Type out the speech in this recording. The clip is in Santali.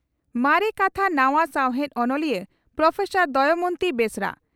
ᱢᱟᱨᱮ ᱠᱟᱛᱷᱟ ᱱᱟᱣᱟ ᱥᱟᱣᱦᱮᱫ ᱚᱱᱚᱞᱤᱭᱟᱹ ᱺ ᱯᱨᱚᱯᱷᱮᱥᱚᱨ ᱫᱚᱢᱚᱭᱚᱱᱛᱤ ᱵᱮᱥᱨᱟ